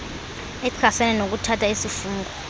echasene nokuthatha isifungo